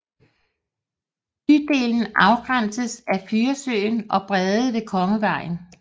Bydelen afgrænses af Furesøen og Brede ved Kongevejen